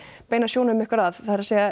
beina sjónum ykkar að það er